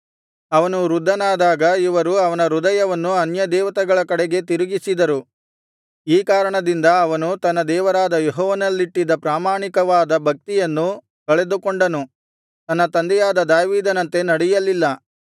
ಅವನು ವೃದ್ಧನಾದಾಗ ಇವರು ಅವನ ಹೃದಯವನ್ನು ಅನ್ಯದೇವತೆಗಳ ಕಡೆಗೆ ತಿರುಗಿಸಿದರು ಈ ಕಾರಣದಿಂದ ಅವನು ತನ್ನ ದೇವರಾದ ಯೆಹೋವನಲ್ಲಿಟ್ಟಿದ್ದ ಪ್ರಾಮಾಣಿಕವಾದ ಭಕ್ತಿಯನ್ನು ಕಳೆದುಕೊಂಡನು ತನ್ನ ತಂದೆಯಾದ ದಾವೀದನಂತೆ ನಡೆಯಲಿಲ್ಲ